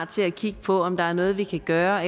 til at kigge på om der er noget vi kan gøre